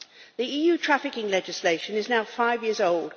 The EU trafficking legislation is now 5 years old.